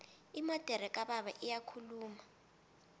imodere kababa iyakhuluma